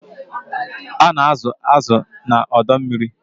A na-azụ̀ azụ̀ na ọdọ mmiri.